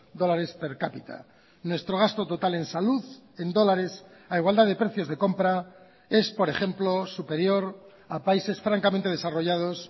dólares per cápita nuestro gasto total en salud en dólares a igualdad de precios de compra es por ejemplo superior a países francamente desarrollados